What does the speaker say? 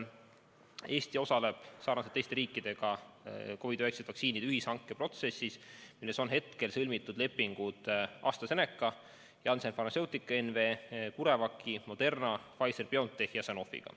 Eesti osaleb sarnaselt teiste riikidega COVID-19 vaktsiinide ühishanke protsessis, milles on sõlmitud lepingud AstraZeneca, Janssen Pharmaceutica NV, CureVaci, Moderna ja Pfizer/BioNTechi ja Sanofiga.